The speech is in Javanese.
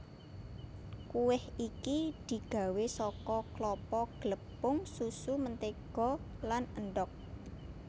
Kuweh iki digawé saka klapa glepung susu mentega lan endhog